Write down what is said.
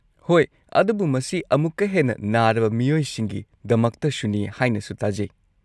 ꯍꯣꯏ, ꯑꯗꯨꯕꯨ ꯃꯁꯤ ꯑꯃꯨꯛꯀ ꯍꯦꯟꯅ ꯅꯥꯔꯕ ꯃꯤꯑꯣꯏꯁꯤꯡꯒꯤꯗꯃꯛꯇꯁꯨꯅꯤ ꯍꯥꯏꯅꯁꯨ ꯇꯥꯖꯩ꯫